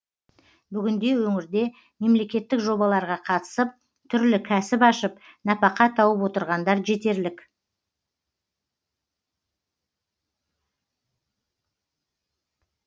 бүгінде өңірде мемлекеттік жобаларға қатысып түрлі кәсіп ашып нәпақа тауып отырғандар жетерлік